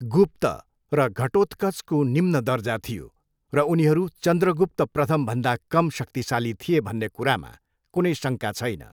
गुप्त र घटोत्कचको निम्न दर्जा थियो र उनीहरू चन्द्रगुप्त प्रथमभन्दा कम शक्तिशाली थिए भन्ने कुरामा कुनै शङ्का छैन।